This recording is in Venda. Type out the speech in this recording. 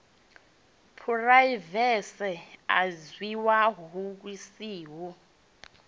phuraivethe a dzhiwa lu siho